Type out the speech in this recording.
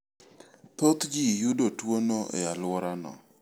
Thot ji yudo tuono e alworano.